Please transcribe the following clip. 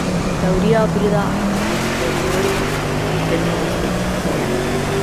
Teorija pride aposteriori, vedno nastopi pozneje.